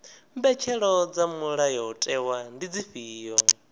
mbetshelo dza mulayotewa ndi dzifhio